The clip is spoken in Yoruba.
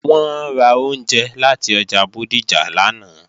Wọ́n ra oúnjẹ láti ọjà Bódìjà lánàá